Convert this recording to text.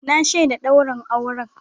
Na shaida daurin auren.